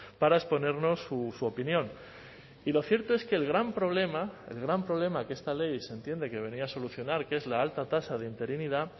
para exponernos su opinión y lo cierto es que el gran problema el gran problema que esta ley se entiende que venía a solucionar que es la alta tasa de interinidad